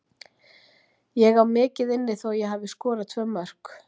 Ég á mikið inni þó ég hafi skorað tvö mörk.